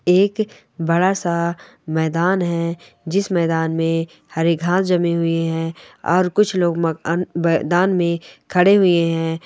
एक बड़ा सा मैदान है जिस मैदान में हरी घास जमी हुई है और कुछ लोग मक-मैदान में खड़े हुए हैं ।